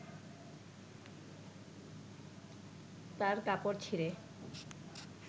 তার কাপড় ছিঁড়ে